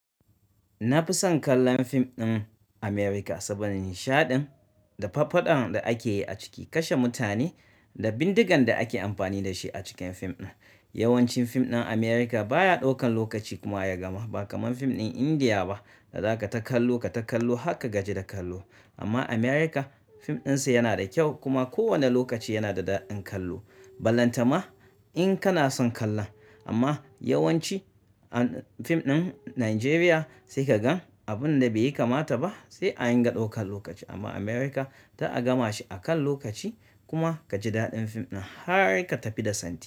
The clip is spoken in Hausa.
Na fi son kallon fim ɗin America saboda nishaɗin, da faffadan da ake yi a ciki, kasha mutane da bindigan da ake amfani da shi a cikin fim ɗin. Yawancin fim ɗin America baya ɗaukan lokaci kuma ya gama ba kamar fim ɗin India ba da za ka ta kallo ka ta kallo haka ka gaji da kallo. Amma America fim ɗinsa yana da kyau kuma kowane lokaci yana da daɗin kallo. Ballanta ma in kana son kallon. Amma yawanci fim ɗin Najeriya sai ka gan abun da bai yi kamata ba sai an dinga ɗaukan lokaci amma America ta a gama shi a kan lokaci kuma kaji daɗin fim ɗin har ka tafi da santi.